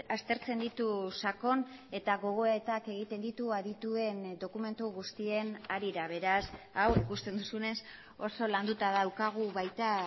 aztertzen ditu sakon eta gogoetak egiten ditu adituen dokumentu guztien harira beraz hau ikusten duzunez oso landuta daukagu baita